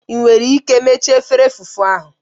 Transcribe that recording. Ị nwere ike mechaa efere fufu ahụ?